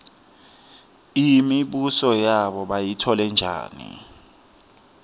imibuso yabo bayitfole njani